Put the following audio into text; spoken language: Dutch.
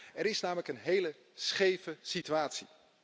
Er is namelijk een hele scheve situatie.